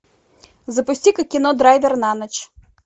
запусти ка кино драйвер на ночь